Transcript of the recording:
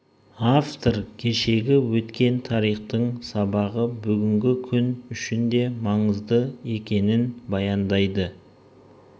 автор кешегі өткен тарихтың сабағы бүгінгі күн үшін де маңызды екенін баяндайды